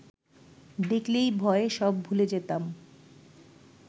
দেখলেই ভয়ে সব ভুলে যেতাম